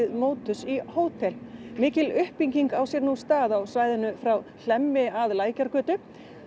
Motus í hótel mikil uppbygging á sér stað á svæðinu frá Hlemmi að Lækjargötu